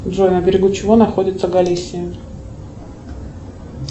джой на берегу чего находится галисия